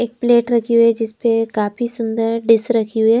एक प्लेट रखी हुई है जिस पे काफी सुंदर डिस रखी हुई है।